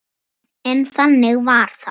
En þannig varð það.